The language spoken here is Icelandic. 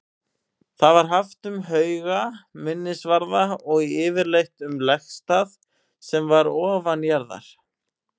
Það var haft um hauga, minnisvarða og yfirleitt um legstað sem var ofanjarðar.